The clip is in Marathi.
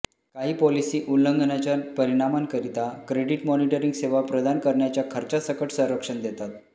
काही पॉलिसी उल्लंघनाच्या परिणामांकरिता क्रेडिट मॉनिटरिंग सेवा प्रदान करण्याच्या खर्चासकट संरक्षण देतात